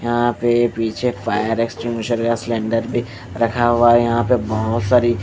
यहाँ पे पीछे फायर एक्सटिंग्युशर स्लेंडर पे रखा हुआ है यहाँ पे बहुत सारी --